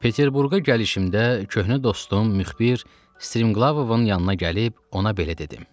Peterburqa gəlişimdə köhnə dostum müxbir Striglovun yanına gəlib ona belə dedim.